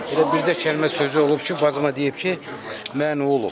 Elə bircə kəlmə sözü olub ki, bacıma deyib ki, mən olub.